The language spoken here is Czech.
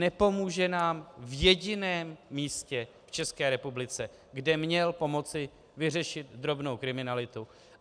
Nepomůže nám v jediném místě v České republice, kde měl pomoci vyřešit drobnou kriminalitu.